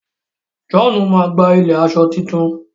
John má gbà ilẹ aṣọ títún